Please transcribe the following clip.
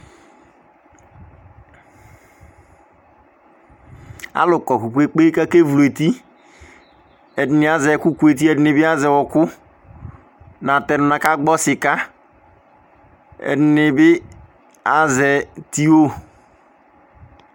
Alʋ kɔ kpe-kpe-kpe kʋ akevlu eti Ɛdɩnɩ azɛ ɛkʋkʋeti, ɛdɩnɩ bɩ azɛ ɔɣɔkʋ Natɛnʋ nʋ akagbɔ sɩka Ɛdɩnɩ bɩ azɛ tiyo